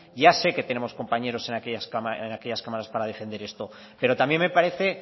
ya sé que tenemos compañeros en aquellas cámaras para defender esto pero también me parece